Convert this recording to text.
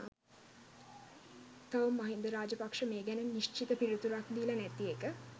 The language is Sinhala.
තවම මහින්ද රාජපක්ෂ මේ ගැන නිශ්චිත පිළිතුරක් දීලා නැති එක.